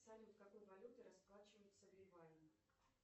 салют какой валютой расплачиваются в ливане